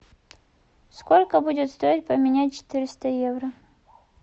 сколько будет стоить поменять четыреста евро